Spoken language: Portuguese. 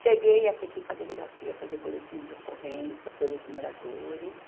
Cheguei a ter que ir para a delegacia fazer boletim de ocorrência pelos moradores.